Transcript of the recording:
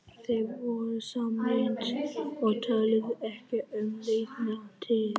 Þau voru samrýnd og töluðu ekki um liðna tíð.